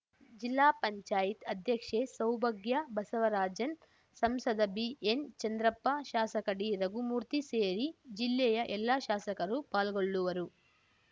ಜಿಲ್ಲಾ ಪಂಚಾಯತ್ ಅಧ್ಯಕ್ಷೆ ಸೌಭಾಗ್ಯಬಸವರಾಜನ್‌ ಸಂಸದ ಬಿಎನ್‌ಚಂದ್ರಪ್ಪ ಶಾಸಕ ಡಿರಘುಮೂರ್ತಿ ಸೇರಿ ಜಿಲ್ಲೆಯ ಎಲ್ಲ ಶಾಸಕರು ಪಾಲ್ಗೊಳ್ಳುವರು